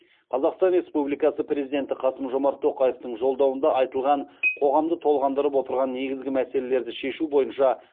қазқстан республикасы президенті қасым жомарт тоқаевтың жолдауында айтылған қоғамды толғандырып отырған негізгі мәселелерді шешу бойынша